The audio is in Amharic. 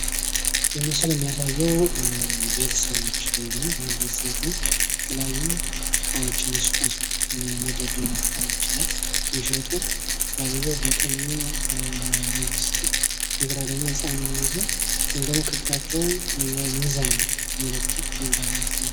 ይህ ምስል የሚያሳዬው ቤተሰቦች ወይም ባንድ ቤተሰቦች ሁነው የተለያዩ እቃዎችን የሱቃሱቅ መደርደርያ እቃዎች ላይ እየሸጡ ባልዬው በቀኙ ሚስቱ እንደገና ደሞ ህፃኑን ይዞ ወይም ደግሞ ከፊታቸው ሚዛን መለኪያ ወይም ባለስ